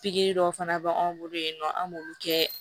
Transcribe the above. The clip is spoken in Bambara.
Pikiri dɔw fana bɛ an bolo yen nɔ an b'olu kɛ